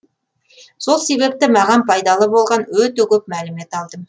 сол себепті маған пайдалы болған өте көп мәлімет алдым